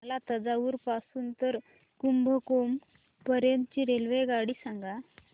मला तंजावुर पासून तर कुंभकोणम पर्यंत ची रेल्वेगाडी सांगा